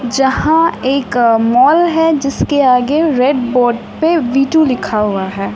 जहां एक मॉल है जिसके आगे रेड बोर्ड पे वी टू लिखा हुआ है।